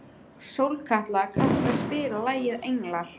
Sólkatla, kanntu að spila lagið „Englar“?